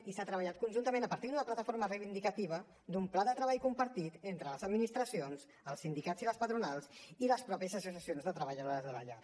i s’ha treballat conjuntament a partir d’una plataforma reivindicativa d’un pla de treball compartit entre les administracions els sindicats i les patronals i les mateixes associacions de treballadores de llar